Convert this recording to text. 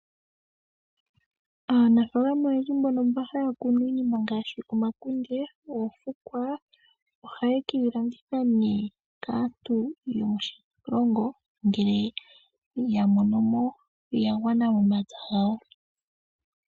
Aanafaalama mboka haya kunu iikunomwa ngaashi omapungu, omahangu, omakunde, oofukwa nayilwe, ohaye keyi shingitha uuna yaamanwa okulikolwamo momapya opo yamonemo iiyemo.